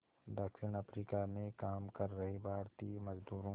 दक्षिण अफ्रीका में काम कर रहे भारतीय मज़दूरों